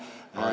Aitäh!